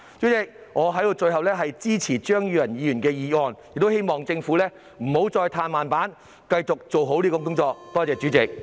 代理主席，最後，我支持張宇人議員的議案，亦希望政府不要再"嘆慢板"，必須繼續做好這項工作。